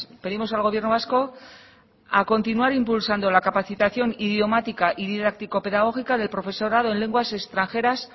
pedimos al gobierno vasco a continuar impulsando la capacitación idiomática y didáctico pedagógica del profesorado en lenguas extranjeras